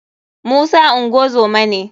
musa ngozoma ne.